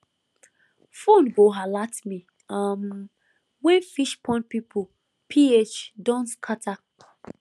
phone go alert me um when fish pond pond ph don scatter